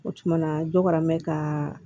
O tumana dɔ kɛra mɛ ka